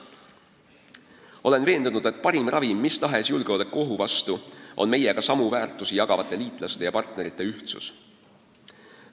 Olen veendunud, et parim ravim mis tahes julgeolekuohu vastu on meiega samu väärtusi hindavate liitlaste ja partnerite ühtsus.